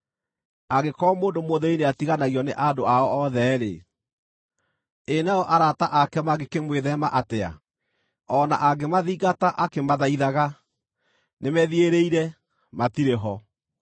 Angĩkorwo mũndũ mũthĩĩni nĩatiganagio nĩ andũ ao othe-rĩ, ĩ nao arata ake mangĩkĩmwĩtheema atĩa! O na angĩmathingata akĩmathaithaga, nĩmethiĩrĩire, matirĩ ho.